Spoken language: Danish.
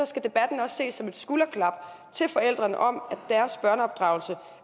skal debatten også ses som et skulderklap til forældrene om at deres børneopdragelse